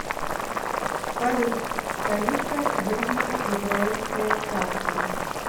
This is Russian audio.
салют столица южное израильское царство